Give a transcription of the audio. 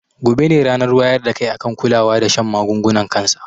Gobe ne ranar wayar da kai akan kulawa da shan magungunan kansa